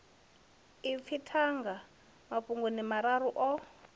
ipfi thanga mafhungoni mararu o